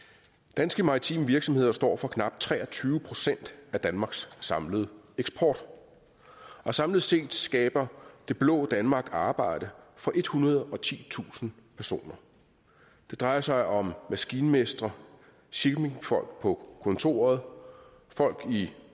danske maritime virksomheder står for knap tre og tyve procent af danmarks samlede eksport og samlet set skaber det blå danmark arbejde for ethundrede og titusind personer det drejer sig om maskinmestre shippingfolk på kontoret folk i